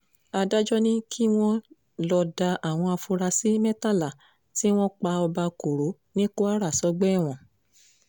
adájọ́ ti ní kí wọ́n lọ́ọ́ da àwọn afurasí mẹ́tàlá tí wọ́n pa ọba koro ní kwara sọ́gbà ẹ̀wọ̀n